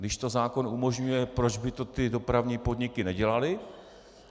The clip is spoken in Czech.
Když to zákon umožňuje, proč by to ty dopravní podniky nedělaly?